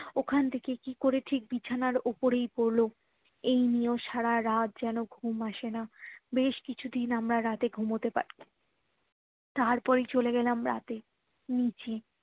ওখান থেকে কি করে ঠিক বিছানার উপরেই পড়লো এই নিয়ে সারারাত যেন ঘুম আসে না বেশ কিছুদিন আমরা রাতে ঘুমোতে পারিনি তারপরেই চলে গেলাম রাতে নিচে